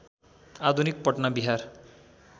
आधुनिक पटना बिहार